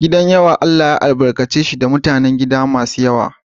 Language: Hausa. Gidan yawa Allah ya albarkace shi da mutanen gida masu yawa.